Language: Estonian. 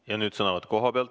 Ja nüüd sõnavõtt koha pealt.